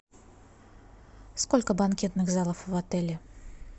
сколько банкетных залов в отеле